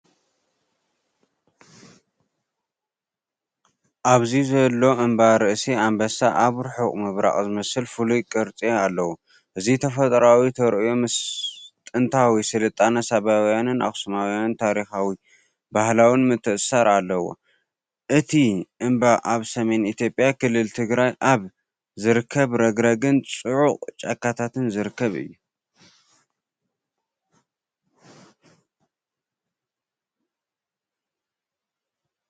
ኣብዚ ዘሎ እምባ ርእሲ ኣንበሳ ኣብ ርሑቕ ምብራቕ ዝመስል ፍሉይ ቅርጺ ኣለዎ። እዚ ተፈጥሮኣዊ ተርእዮ ምስጥንታዊ ስልጣነ ሳባውያንን ኣኽሱማውያንን ታሪኻውን ባህላውን ምትእስሳር ኣለዎ። እቲ እምባ ኣብ ሰሜን ኢትዮጵያ ክልል ትግራይ ኣብ ዝርከብ ረግረግን ፅዑቕ ጫካታትን ዝርከብ እዩ።